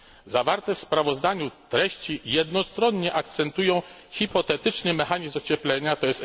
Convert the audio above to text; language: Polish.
Zawarte w sprawozdaniu treści jednostronnie akcentują hipotetyczny mechanizm ocieplenia, tj.